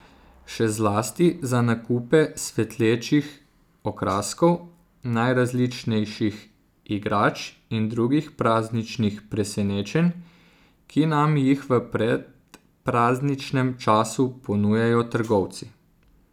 Še zlasti za nakupe svetlečih okraskov, najrazličnejših igrač in drugih prazničnih presenečenj, ki nam jih v predprazničnem času ponujajo trgovci.